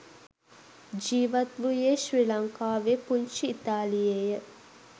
ජීවත් වූයේ ශ්‍රී ලංකාවේ පුංචි ඉතාලියේය.